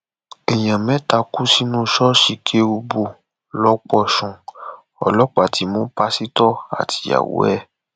èèyàn mẹta kú sínú ṣọọṣì kérúbù lọpọṣùn ọlọpàá ti mú pásítọ àtìyàwó ẹ